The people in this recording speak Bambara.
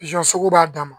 sugu b'a dan ma